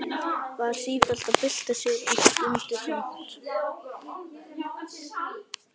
Var sífellt að bylta sér og stundi þungt.